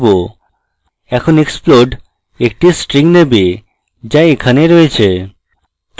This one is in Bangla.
এখন explode একটি string নেবে যা এখানে রয়েছে